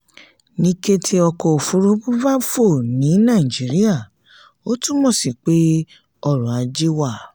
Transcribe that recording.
ní kété ọkọ̀ òfúrufú bá fò ní nàìjíría ó túmọ̀ sí pé ọrọ̀-ajé wà.